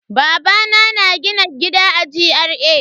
Babana na gina gida a GRA.